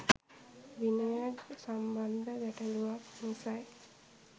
විනය සම්බන්ධ ගැටලූවක් නිසයි